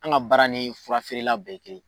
An ka baara ni furafeerela bɛ ye kelen ye.